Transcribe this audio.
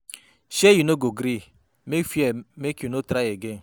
Shee you no go gree make fear make you no try again.